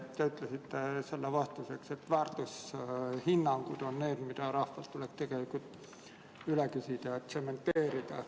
Te ütlesite vastuseks, et väärtushinnangud on need, mida rahvalt tuleb üle küsida ja tsementeerida.